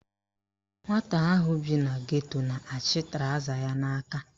Nwata ahụ bi na geto na-achị trọza ya n'aka